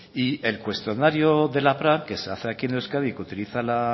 el cuestionario de la pra que se hace aquí en euskadi y que utiliza la